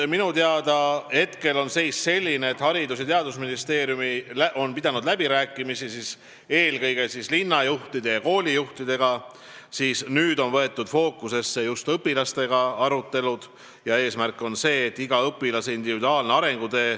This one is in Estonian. Minu teada on hetkel selline seis, et Haridus- ja Teadusministeerium on pidanud läbirääkimisi eelkõige linnajuhtide ja koolijuhtidega, nüüd on võetud fookusesse just arutelud õpilastega.